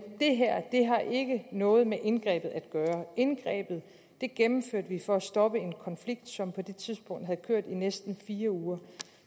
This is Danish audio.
det her det har ikke noget med indgrebet at gøre indgrebet det gennemførte vi for at stoppe en konflikt som på det tidspunkt havde kørt i næsten fire uger